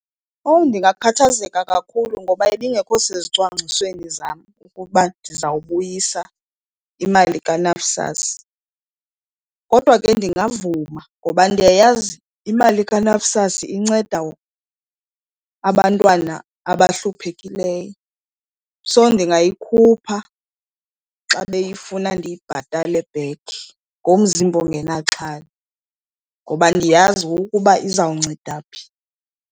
Owu ndingakhathazeka kakhulu ngoba ibingekho sezicwangcisweni zam ukuba ndizawubuyisa imali kaNSFAS. Kodwa ke ndingavuma ngoba ndiyayazi imali kaNSFAS inceda abantwana nto abahluphekileyo. So ndingayikhupha xa beyifuna ndiyibhatale back ngomzimba ongenaxhala ngoba ndiyazi ukuba izawunceda phi.